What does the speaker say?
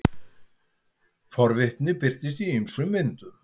forvitni birtist í ýmsum myndum